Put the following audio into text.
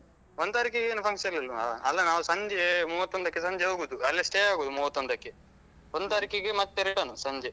ಒಂದು ತಾರೀಖಿಗೆ ಏನು function ಇಲ್ವಾ ಅಲ್ಲ ನಾವು ಸಂಜೆ ಮೂವತ್ತೊಂದಕ್ಕೆ ಸಂಜೆ ಹೋಗುದು ಅಲ್ಲೆ stay ಆಗುದು ಮೂವತ್ತೊಂದಕ್ಕೆ ಒಂದ್ ತಾರೀಖಿಗೆ ಮತ್ತೆ return ಸಂಜೆ.